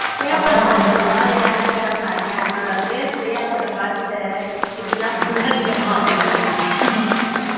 கேப்பங்கா அதெல்லாம் உட்காந்து ஆனா கேப்பேன் என்னோட face reaction அ பார்த்துட்டு இப்படி எல்லாம் பண்ணாதீங்கம்மா அப்படின்னுவான்